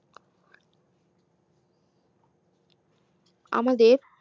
আমাদের